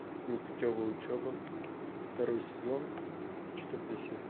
непутевая учеба второй сезон четвертая серия